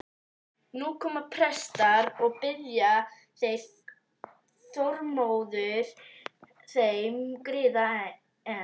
Nú koma prestar og biðja þeir Þormóður þeim griða, en